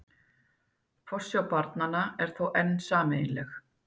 Forsjá barnanna er þó enn sameiginleg